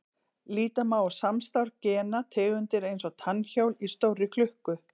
Líta má á samstarf gena tegundar eins og tannhjól í stórri klukku.